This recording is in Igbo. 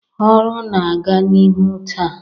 ọrụ na-aga n'ihu taa